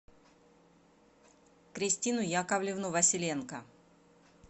кристину яковлевну василенко